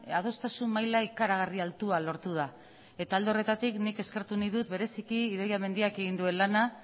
adostasun maila ikaragarri altua lortu da eta alde horretatik nik eskertu nahi dut bereziki idoia mendiak egin duen lana